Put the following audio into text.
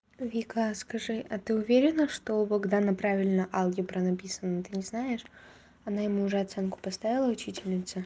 вика скажи а ты уверена что у богдана правильно алгебра написана ты не знаешь она ему уже оценку поставила учительница